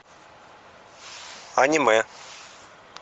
аниме